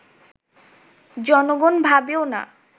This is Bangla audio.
জনগণ ভাবেও না